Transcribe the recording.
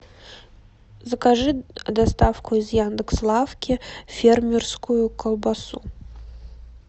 закажи доставку из яндекс лавки фермерскую колбасу